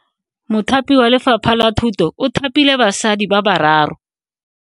Mothapi wa Lefapha la Thuto o thapile basadi ba ba raro.